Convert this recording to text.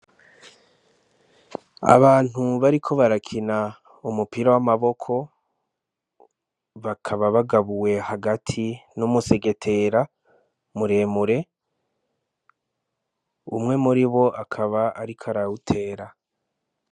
Abantu bariko barakina umupira w'amaboko bakaba bagabuye hagati n'umusegetera muremure umwe muribo akaba ariko arawutera